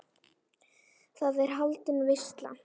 Þar er haldin veisla.